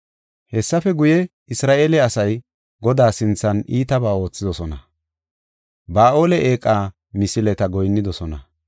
Hessafe guye, Isra7eele asay Godaa sinthan iitabaa oothidosona; Ba7aale eeqa misileta goyinnidosona.